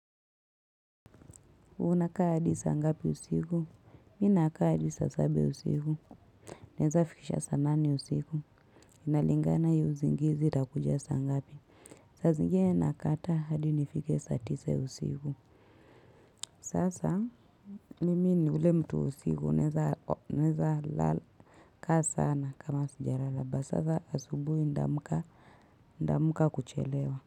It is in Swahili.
Unaka hadi sa ngapi usigu? Mi naka hadi sa saba ya usigu. Neza fikisha sa nane usigu. Inalingana iyo uzingizi itakuja sa ngapi. Saa zingene nakataa hadi nifike sa tisa ya usiku. Sasa mimi ni ule mtu usiku. Naweza lala kaa sana kama sijalala. But sasa asubuhi nitamka kuchelewa.